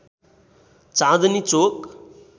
चाँदनी चोक